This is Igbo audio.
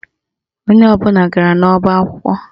Onye ọbụla gara n'ọba akwụkwọ